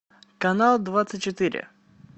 канал двадцать четыре